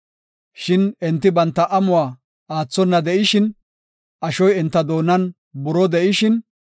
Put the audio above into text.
Shin enti banta amuwa aathona de7ishin, ashoy enta doonan buroo de7ishin,